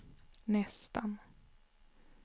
nästan